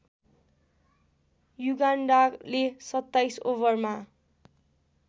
युगान्डाले २७ ओभरमा